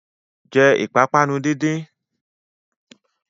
Jẹ́ ìpápánu díndín!